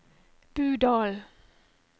Budalen